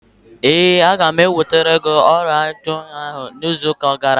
Ee, aga m ewetere gị oriọna ahụ izu ụka ọzọ.